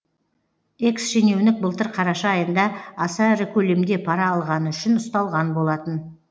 экс шенеунік былтыр қараша айында аса ірі көлемде пара алғаны үшін ұсталған болатын